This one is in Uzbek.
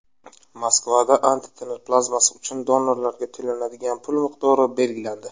Moskvada antitana plazmasi uchun donorlarga to‘lanadigan pul miqdori belgilandi.